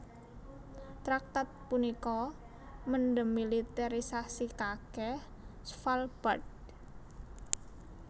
Traktat punika mendemiliterisasikake Svalbard